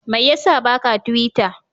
Mai ya sa ba ka tiwita?